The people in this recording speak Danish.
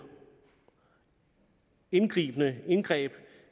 indgreb indgreb